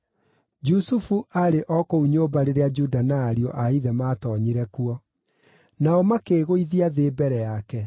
Jusufu aarĩ o kũu nyũmba rĩrĩa Juda na ariũ a ithe maatoonyire kuo. Nao makĩĩgũithia thĩ mbere yake.